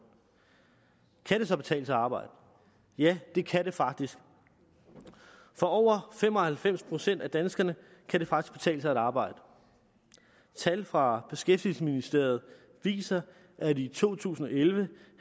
kan det så betale sig at arbejde ja det kan det faktisk for over fem og halvfems procent af danskerne kan det faktisk betale sig at arbejde tal fra beskæftigelsesministeriet viser at i to tusind og elleve